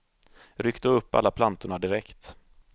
Ryck då upp alla plantorna direkt.